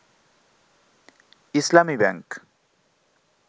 Islami bank